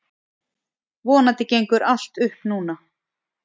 Vonandi gengur allt upp núna.